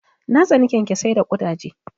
Na tsani kyankyasai da ƙudaje.